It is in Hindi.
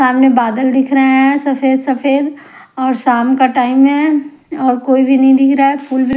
सामने बादल दिख रहा है सफेद-सफेद और शाम का टाइम है और कोई भी नहीं दिख रहा है --